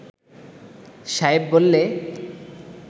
সায়েব বললে